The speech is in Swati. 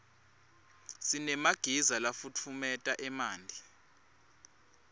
sinemagiza lafutfumeta emanti